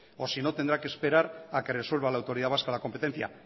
o si no tendrá que esperar a que resuelta la autoridad vasca de la competencia